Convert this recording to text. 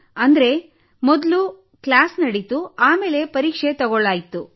ಅಂದರೆ ಮೊದಲು ಕ್ಲಾಸ್ ನಡೀತು ಆಮೇಲೆ ಪರೀಕ್ಷೆ ತೆಗೆದುಕೊಳ್ಳಲಾಯಿತು